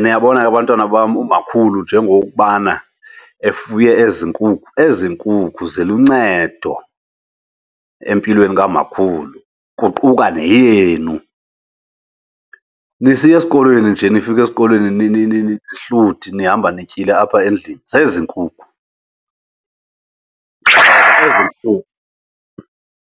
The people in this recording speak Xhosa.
Niyabona ke bantwana bam umakhulu njengokubana efuye ezi nkukhu, ezi nkukhu ziluncedo empilweni kamakhulu kuquka neyenu. Nisiya esikolweni nje nifika esikolweni nihluthi nihamba nityile apha endlini, zezi nkukhu, nkukhu.